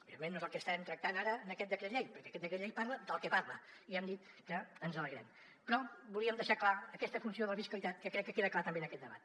òbviament no és el que estem tractant ara en aquest decret llei perquè aquest decret llei parla del que parla i hem dit que ens n’alegrem però volíem deixar clara aquesta funció de la fiscalitat que crec que queda clara també en aquest debat